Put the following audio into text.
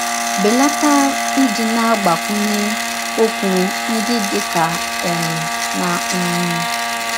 Belata ịdị na - agbakwụnye ọkwụ ndị dị ka ‘ eem ’ na ‘ mmm. ’”